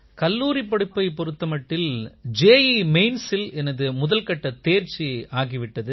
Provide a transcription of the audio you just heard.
கல்லூரிப் படிப்பைப் பொறுத்த மட்டில் ஜீ mainsஇல் எனது முதல் கட்டத் தேர்ச்சி ஆகி விட்டது